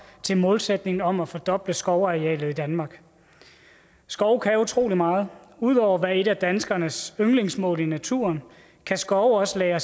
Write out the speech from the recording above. til målsætningen om at fordoble skovarealet i danmark skov kan utrolig meget ud over at være et af danskernes yndlingsmål i naturen kan skov også lagre